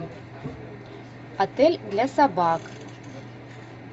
отель для собак